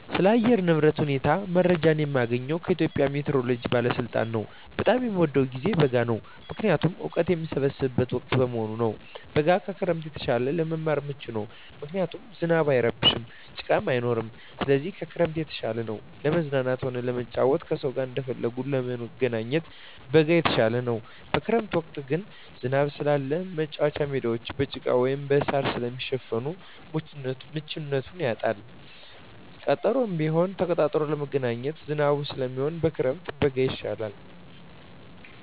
ስለ አየር ንብረት ሁኔታ መረጃ የማገኘዉ ከኢትዮጵያ ሜትሮሎጂ ባለስልጣን ነዉ። በጣም የምወደዉ ጊዜ በጋ ነዉ ምክንያቱም እወቀት የምሰበስብበት ወቅት በመሆኑ ነዉ። በጋ ከክረምት የተሻለ ለመማር ምቹ ነዉ ምክንያቱም ዝናብ አይረብሽም ጭቃም አይኖርም ስለዚህ ከክረምት የተሻለ ነዉ። ለመዝናናትም ሆነ ለመጫወት ከሰዉ ጋር እንደፈለጉ ለመገናኘት በጋ የተሻለ ነዉ። በክረምት ወቅት ግን ዝናብ ስላለ መቻወቻ ሜዳወች በጭቃ ወይም በእሳር ስለሚሸፈን ምቹነቱን ያጣል ቀጠሮም ቢሆን ተቀጣጥሮ ለመገናኘት ዝናብ ስለሚሆን ከክረምት በጋ የተሻለ ነዉ።